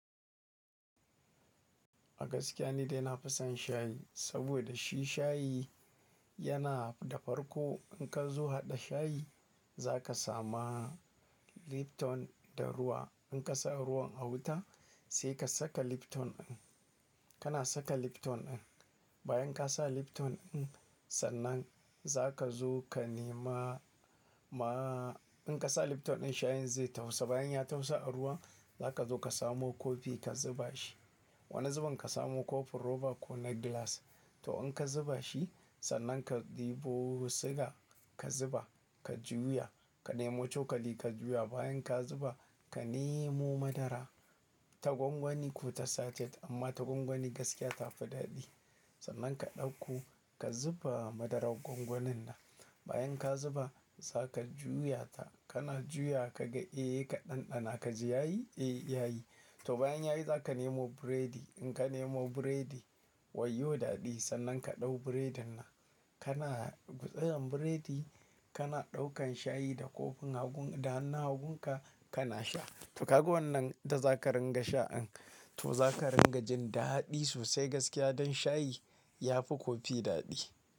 Gaskiya ni dai nafi son shayi saboda shi shayi yana da farko. In ka zo haɗa shayi, zaka sama Lipton da ruwa. In ka sa ruwan a wuta, sai ka saka Lipton ɗin. Kana saka Lipton ɗin. Bayan ka sa Lipton ɗin, sannan zaka zo ka nema ma, in ka sa Lipton ɗin shayin zai tafasu. Bayan ya tausa a ruwa, zaka zo ka samo kofi ka zuba shi. Wani zubin ka samo kofin roba ko na gilas. To in ka zuba shi, sannan ka ɗebo suga ka zuba, ka juya, ka nemo cokali ka juya. Bayan ka zuba, ka nemo madara ta gwangwani ko ta sachet amma ta gwangwani gaskiya ta fi daɗi. Sannan ka ɗauko ka zuba madarar gwangwanin nan. Bayan ka zuba, zaka juya ta. Kana juya kaga eh ka ɗanɗana ka ji ya yi? Eh, yayi. To bayan yayi zaka nemo biredi. In ka nemo biredi, wayyo daɗi. Sannan ka ɗau biredin nan, kana gutsuran biredi kana ɗaukan shayi da kofin hagu da hannun hagun ka kana sha. To kaga wannan da zaka ringa sha in. To zaka ringa jin daɗi sosai gaskiya dan shayi yafi kofi daɗi.